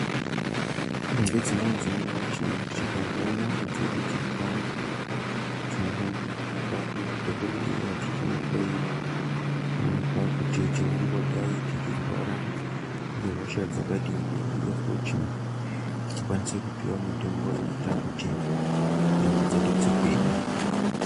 Ngedzimweni dzenguwa tino tikazwa nyama dzedu dzeipanda tinofanore kuenda kumadhokodheya tichinohloyiwa kuonekwa kuti tinongodai tichirwara nehosha dzakadini uye futi tikwanise kupiwa mitombo inoita kuti nyama dzedu dzigwinye.